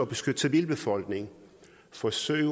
beskytte civilbefolkningen forsøg